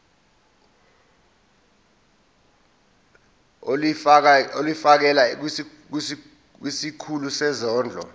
ulifiakela kwisikulu sezondlo